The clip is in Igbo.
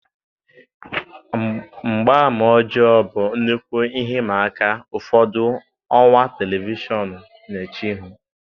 Mgbama ọjọọ bụ nnukwu ihe ịma aka ụfọdụ ọwa telivishọn na-eche ihu.